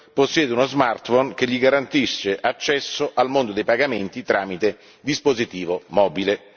possiede uno smartphone che gli garantisce accesso al mondo dei pagamenti tramite dispositivo mobile.